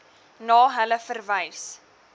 na hulle verwys